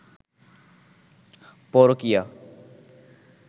পরকীয়া